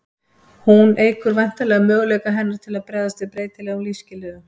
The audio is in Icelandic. hún eykur væntanlega möguleika hennar til að bregðast við breytilegum lífsskilyrðum